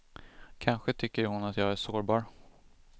Kanske tycker hon att jag är sårbar.